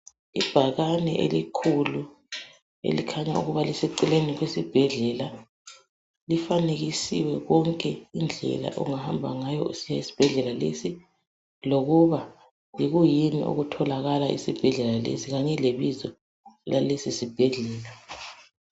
Ibhakane elikhulu elikhanya ukuba liseceleni kwesibhedlela, lifanekisiwe konke indlela ongahamba ngayo usiya esibhedlela lesi lokuba yikuyini okutholakala esibhedlela lesi kanye lebizo lalesisibhedlela